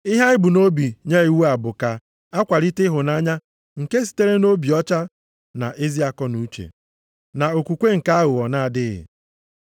Ihe anyị bu nʼobi nye iwu a, bụ ka a kwalite ịhụnanya nke sitere nʼobi ọcha na ezi akọnuche, na okwukwe nke aghụghọ na-adịghị.